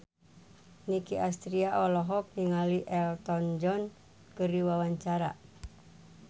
Nicky Astria olohok ningali Elton John keur diwawancara